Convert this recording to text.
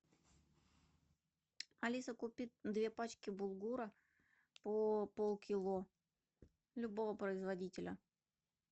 алиса купи две пачки булгура по полкило любого производителя